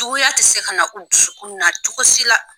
Juguya tɛ se ka na u dusukun na cogoya si la.